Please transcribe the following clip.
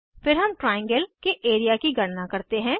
फिर हम ट्राइएंगल के एरिया की गणना करते हैं